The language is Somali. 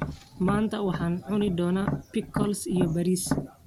Maanta waxaan cuni doonaa pickles iyo bariis.